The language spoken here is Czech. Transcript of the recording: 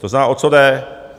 To znamená, o co jde?